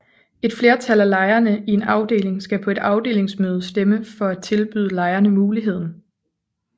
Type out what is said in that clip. Et flertal af lejerne i en afdeling skal på et afdelingsmøde stemme for at tilbyde lejerne muligheden